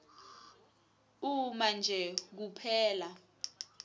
uma nje kuphela